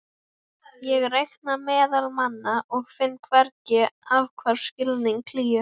Ég reika meðal manna og finn hvergi athvarf, skilning, hlýju.